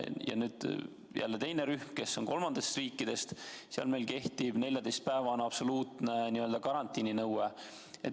Samas on teine rühm, kes on tulnud kolmandatest riikidest, mille puhul kehtib meil 14-päevane absoluutne karantiininõue.